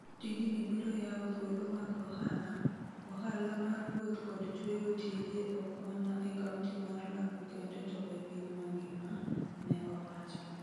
Tijni biro yawo thuolo mag ohala, ohala mar wuoth kod chweyo tije ok mana e Kaunti mar Lamu kende to e piny mangima, ne owacho.